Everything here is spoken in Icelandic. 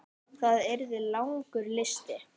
Það yrði langur listi.